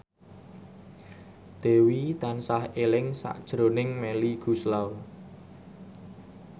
Dewi tansah eling sakjroning Melly Goeslaw